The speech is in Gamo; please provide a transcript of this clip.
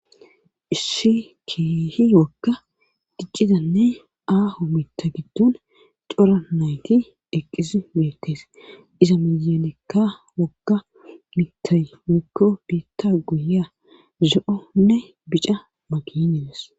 Issi kiehi wokka diccidanne aaho mita giddon cora nayti eqqiz meettes iza miyelekka wokka mita mikko biitta guye zo'onne bica maginedes.